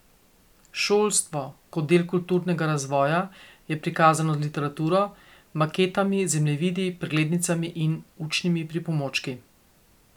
Šolstvo kot del kulturnega razvoja je prikazano z literaturo, maketami, zemljevidi, preglednicami in učnimi pripomočki.